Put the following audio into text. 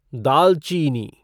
दालचीनी